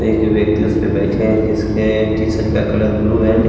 एक व्यक्ति उस पे बैठे हैं जिसके टी-शर्ट का कलर ब्लू एंड --